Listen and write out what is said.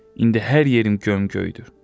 İndi hər yerim gömgöydür.